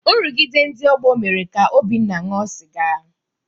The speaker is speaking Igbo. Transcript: Nrụgide ndị ọgbọ mere ka Obinna ṅụọ sịga.